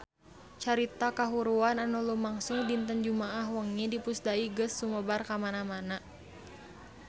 Carita kahuruan anu lumangsung dinten Jumaah wengi di Pusdai geus sumebar kamana-mana